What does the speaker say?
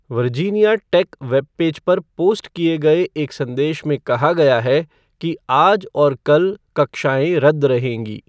Virginia tech web page पर post किए गए एक संदेश में कहा गया है कि आज और कल कक्षाएँ रद्द रहेंगी।